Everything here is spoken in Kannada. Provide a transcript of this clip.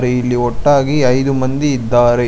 ಅದೆ ಇಲ್ಲಿ ಒಟ್ಟಾಗಿ ಐದು ಮಂದಿ ಇದ್ದಾರೆ.